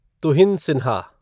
Tuhin Sinha